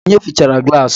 Onye fịchara gilasi?